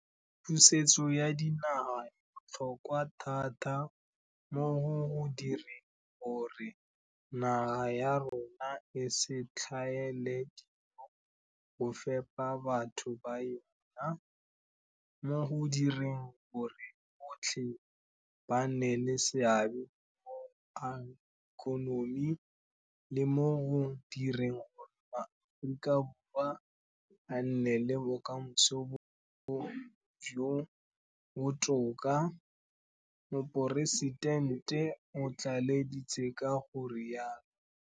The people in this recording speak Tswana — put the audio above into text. Pusetso ya dinaga e botlhokwa thata mo go direng gore naga ya rona e se tlhaele dijo go fepa batho ba yona, mo go direng gore botlhe ba nne le seabe mo go ageng ikonomi, le mo go direng gore maAforika Borwa a nne le bokamoso jo bo botoka, Moporesitente o tlaleleditse ka go rialo.